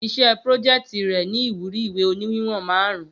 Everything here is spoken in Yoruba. Iṣẹ́ prójeẹ̀tì rè ni ìwúrí ìwé òní wíwòn márùn-ún